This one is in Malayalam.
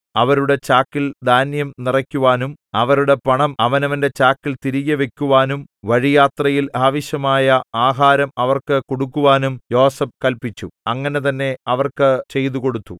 അവരുടെ ചാക്കിൽ ധാന്യം നിറയ്ക്കുവാനും അവരുടെ പണം അവനവന്റെ ചാക്കിൽ തിരികെ വയ്ക്കുവാനും വഴിയാത്രയിൽ ആവശ്യമായ ആഹാരം അവർക്ക് കൊടുക്കുവാനും യോസേഫ് കല്പിച്ചു അങ്ങനെ തന്നെ അവർക്ക് ചെയ്തുകൊടുത്തു